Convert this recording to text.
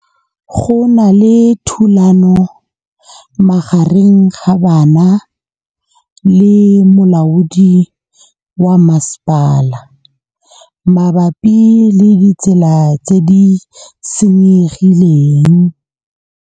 Go na le thulanô magareng ga banna le molaodi wa masepala mabapi le ditsela tse di senyegileng.